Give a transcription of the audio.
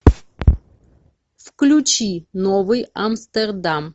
включи новый амстердам